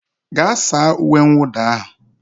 Gaa saa uwe mwụda ahụ